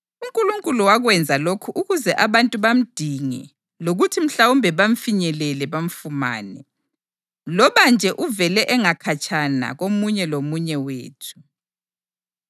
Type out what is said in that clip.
UNkulunkulu wakwenza lokhu ukuze abantu bamdinge lokuthi mhlawumbe bamfinyelele bamfumane, loba nje uvele engakhatshana komunye lomunye wethu.